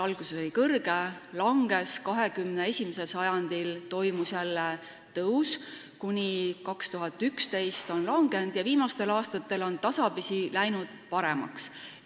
Alguses oli see kõrgel, siis langes, 21. sajandil toimus jälle tõus, 2011. aastal kordaja langes ja viimastel aastatel on olukord jälle tasapisi paremaks läinud.